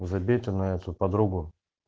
забей ты на эту подругу